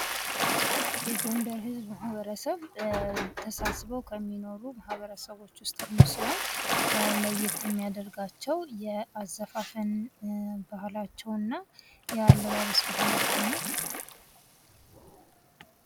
የጎንደር ህዝብ ማበረሰብ ተሳስበው ከሚኖሩ ማህበረሰቦች ውስጥ አንዱ ሲሆን ለየት የሚያደርጋቸው የአዘፋፈን ባህላቸውና የአለባበስ ባህላቸው ነው።